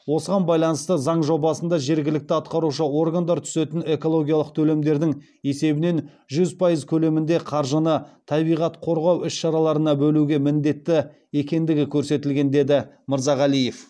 осыған байланысты заң жобасында жергілікті атқарушы органдар түсетін экологиялық төлемдердін есебінен жүз пайыз көлемінде қаржыны табиғат қорғау іс шараларына бөлуге міндетті екендігі көрсетілген деді мырзағалиев